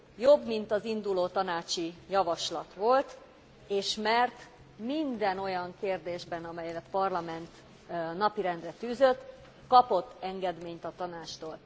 Jobb, mint az induló tanácsi javaslat volt, és mert minden olyan kérdésben, amelyet a Parlament napirendre tűzött, kapott engedményt a Tanácstól.